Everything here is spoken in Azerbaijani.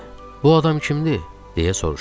Bu adam kimdir, deyə soruşdum.